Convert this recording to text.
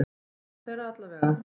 Suma þeirra allavega.